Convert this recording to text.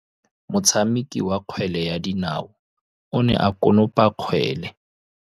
Motshameki wa kgwele ya dinaô o ne a konopa kgwele.